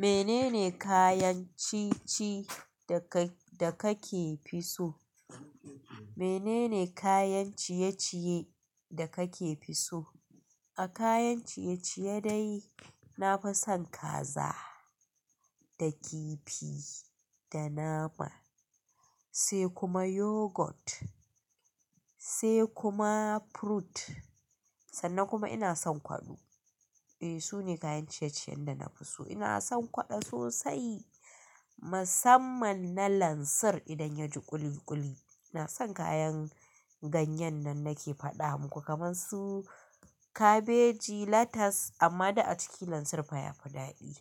Menene kayan ciye-ciye da kake fi so? Menene kayan ciye-ciye da kake fi so? A kayan ciye-ciye dai, nafi son kaza da kifi da nama sai kuma yoghurt sai kuma fruit sannan kuma ina son kwaɗo. E, sune kayan ciye-ciyen da nafi so. Ina son kwaɗo sosai musamman na lansir idan yaji ƙuli-ƙuli. Ina san kayan ganyen nan nake faɗa muku kamar su kabeji, lettuce amma duk a ciki lansir fa yafi daɗi.